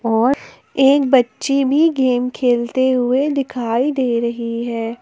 और एक बच्ची भी गेम खेलते हुए दिखाई दे रही है।